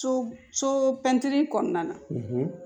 So so pɛntiri kɔnɔna na